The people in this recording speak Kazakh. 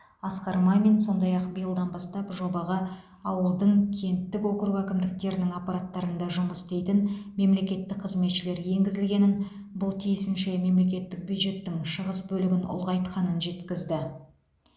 асқар мамин сондай ақ биылдан бастап жобаға ауылдың кенттік округ әкімдіктерінің аппараттарында жұмыс істейтін мемлекеттік қызметшілер енгізілгенін бұл тиісінше мемлекеттік бюджеттің шығыс бөлігін ұлғайтқанын жеткізді